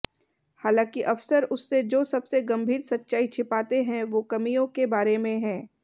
हालांकि अफसर उससे जो सबसे गंभीर सच्चाई छिपाते हैं वो कमियों के बारे में है